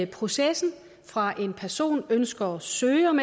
processen fra en person ønsker at søge om